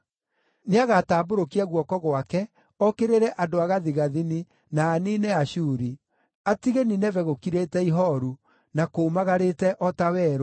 Nĩagatambũrũkia guoko gwake okĩrĩre andũ a gathigathini na aniine Ashuri, atige Nineve gũkirĩte ihooru, na kũũmagarĩte o ta werũ.